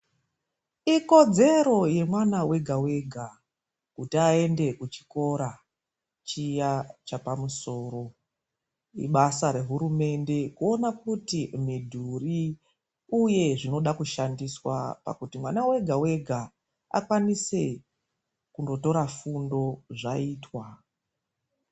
Ikodzero yemwana wega wega kuti aende kuchikora chiya chapamusoro. Ibasa rehurumende kuona kuti midhuri uye zvinoda kushandiswa pakuti mwana wega wega akwanise kundotora fundo zvaitwa.